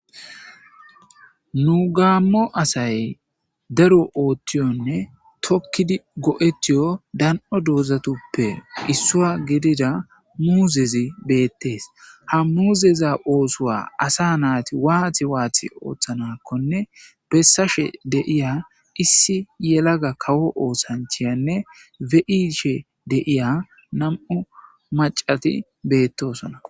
Nu gammo assay daaro othyhiyonne tookidi go'eetiyo daanio dooztuppe issuwa giddida muuzezi bettes ha muuzeza oosso assa naati wati wati othanakonne bessashe deiya issi yellaga kawo oththanchiyanne beishe deiya nam'u maccati bettosona.